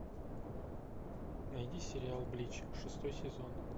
найди сериал блич шестой сезон